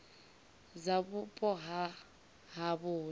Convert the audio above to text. dza vhupo ha havho hune